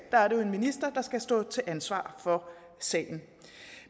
er jo en minister der skal stå til ansvar for sagen